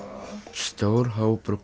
stór hópur